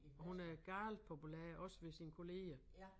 Og hun er galt populær også ved sine kolleger